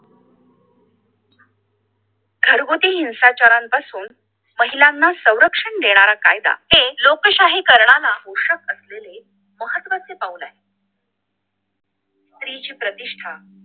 घरगुती हिंसाचारापासून महिलांना संरक्षण देणारा कायदा ते लोकशाहीकरणाला पुषक असलेले महत्वाचे पाऊल आहे स्त्रीची प्रतिष्ठा